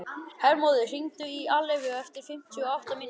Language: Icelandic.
Hermóður, hringdu í Alleifu eftir fimmtíu og átta mínútur.